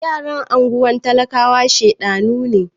Ghetto children are stubborn